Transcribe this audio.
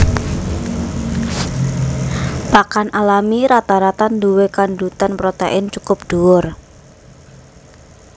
Pakan alami rata rata nduwé kandhutan protèin cukup dhuwur